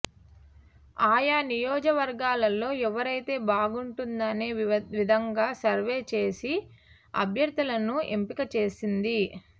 ఆయా నియోజకవర్గాల్లోఎవరైతే బాగుంటుందనే విధంగా సర్వే చేసి అభ్యర్థులను ఎంపిక చేసింది